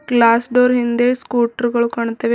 glass door ಹಿಂದೆ scooter ಗಳು ಕಾಣುತ್ತವೆ ಮುನ್--